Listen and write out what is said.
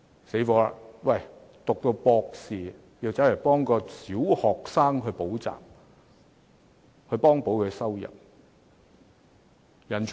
糟糕了，博士生也要替小學生補習來幫補收入。